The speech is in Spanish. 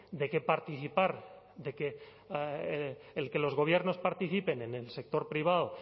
de que participar de que el que los gobiernos participen en el sector privado